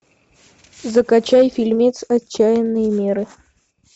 закачай фильмец отчаянные меры